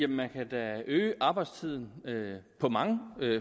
man kan da øge arbejdstiden på mange